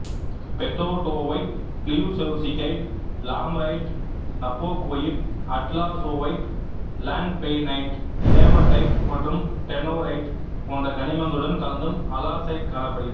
பெதோட்டோவைட்டு klyuchevskite lammerite nabokoite atlasovite langbeinite hematite மற்றும் tenorite போன்ற கனிமங்களுடன் கலந்தும் அலார்சைட்டு காணப்படுகிறது